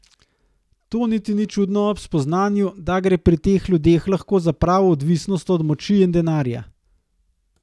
To niti ni čudno ob spoznanju, da gre pri teh ljudeh lahko za pravo odvisnost od moči in denarja.